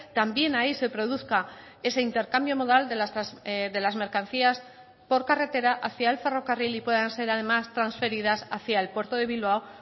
también ahí se produzca ese intercambio modal de las mercancías por carretera hacia el ferrocarril y puedan ser además transferidas hacia el puerto de bilbao